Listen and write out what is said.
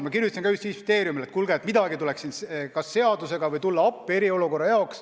Ma kirjutasin Justiitsministeeriumile, et kuulge, midagi tuleks siin kas seadusega ette võtta või tulla muul, viisil eriolukorras appi.